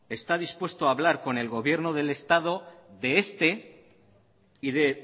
está dispuesto a hablar del gobierno del estado de este y de